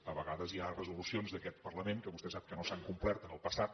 a vegades hi ha resolucions d’aquest parlament que vostè sap que no s’han complert en el passat